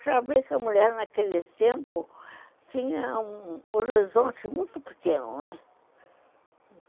Para ver que a mulher naquele tempo tinha um horizonte muito pequeno, né.